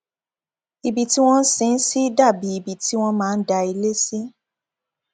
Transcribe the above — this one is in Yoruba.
ibi tí wọn sin ín sí dà bíi ibi tí wọn máa ń dá ilé sí